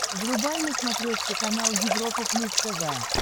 врубай на смотрешке канал европа плюс тв